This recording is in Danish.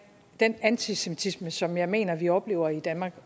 den antisemitisme som jeg mener vi oplever i danmark